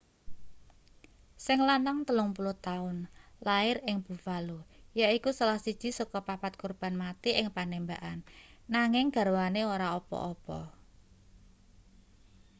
sing lanang 30 taun lair ing buffalo yaiku salah siji saka papat korban mati ing panembakan nanging garwane ora apa-apa